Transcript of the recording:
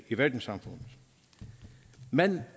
i verdenssamfundet men